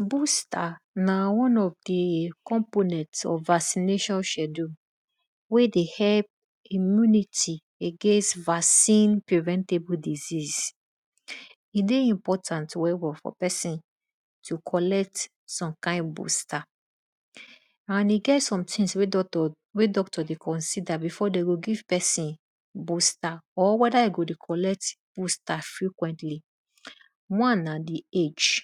Booster na one of di component of vaccination schedule wey dey help against immunity against vaccine preventable disease. E dey important well well for pesin to collect some kind booster. And e get some things wey doctor dey consider before dey go give bpesin booster ot weda e go dey collect boostr frequently. One na di agae,